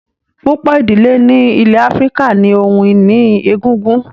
Púpọ̀ ìdílé ní ilẹ̀ Áfíríkà ní ohun ìní egungun